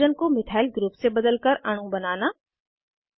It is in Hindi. हाइड्रोजन को मिथाइल ग्रुप से बदलकर अणु बनाना